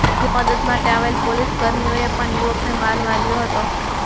ત્યાં મદદ માટે આવેલા પોલીસ કર્મીઓએ પણ યુવકને માર માર્યો હતો